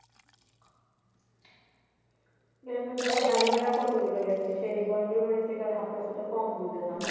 এর মধ্যে আবার গাড়ি ভাড়াও কতগুলা গেছে সেই বন্ধুর বাড়ি থেকে হাফ রাস্তা থেকে কম দূরে না